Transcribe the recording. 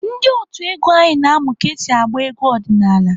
Ndị otu egwu anyị na-amụ ka esi agba egwu ọdịnaala.